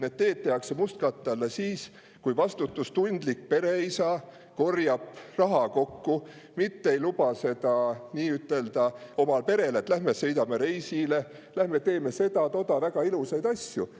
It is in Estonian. Need teed pannakse mustkatte alla siis, kui vastutustundlik pereisa korjab raha kokku, mitte ei luba oma perele, et lähme sõidame reisile, lähme teeme seda-toda, väga ilusaid asju.